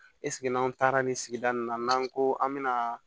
n'an taara nin sigida nin na n'an ko an bɛ na